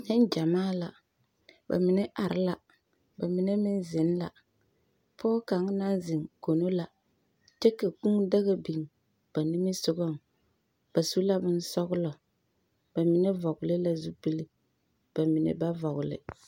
Neŋgyamaa la, ba mine are la, ba mine meŋ zeŋ la. Pɔge kaŋ naŋ zeŋ kono la, kyɛ ka kũũ daga biŋ ba nimisogɔŋ. Ba su la bonsɔglɔ. Ba mine vɔgle zupili. Ba mine ba vɔgle.